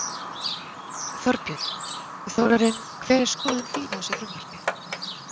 Þorbjörn: Þórarinn hver er skoðun þín á þessu frumvarpi?